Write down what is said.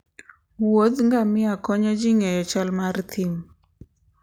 wuodh ngamia konyo ji ng'eyo chal mar thim